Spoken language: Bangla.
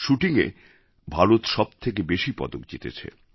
শ্যুটিংএ ভারত সব থেকে বেশি পদক জিতেছে